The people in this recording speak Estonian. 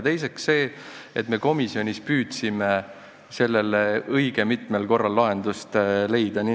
Teiseks, me komisjonis püüdsime õige mitmel korral lahendust leida.